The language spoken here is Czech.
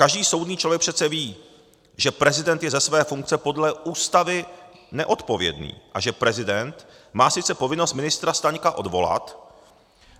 Každý soudný člověk přece ví, že prezident je ze své funkce podle Ústavy neodpovědný a že prezident má sice povinnost ministra Staňka odvolat,